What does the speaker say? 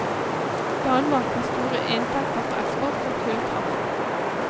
Danmark har store inntekter på eksport av kullkraft.